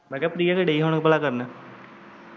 ਮੈਂ ਕਿਹਾ ਪਿ੍ਆ ਕੀ ਦਈ ਕਰਨ ਹੁਣ?